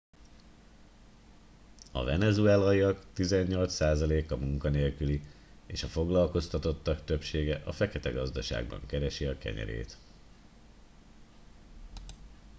a venezuelaiak tizennyolc százaléka munkanélküli és a foglalkoztatottak többsége a feketegazdaságban keresi a kenyerét